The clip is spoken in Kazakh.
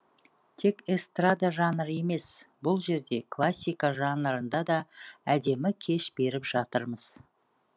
тек эстрада жанры емес бұл жерде классика жанрында да әдемі кеш беріп жатырмыз